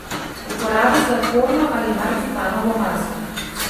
Uporabi sladkorno ali marcipanovo maso.